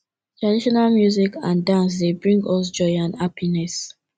traditional music and dance dey bring us joy and happiness